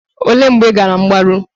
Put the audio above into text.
Olee mgbe ị gara mgbaru?